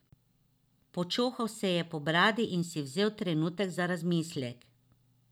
Počohal se je po bradi in si vzel trenutek za razmislek.